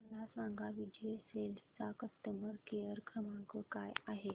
मला सांगा विजय सेल्स चा कस्टमर केअर क्रमांक काय आहे